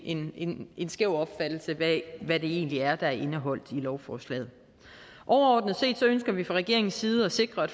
en en skæv opfattelse af hvad det egentlig er der er indeholdt i lovforslaget overordnet set ønsker vi fra regeringens side at sikre at